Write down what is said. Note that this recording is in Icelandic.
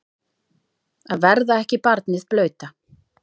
Að verða ekki barnið blauta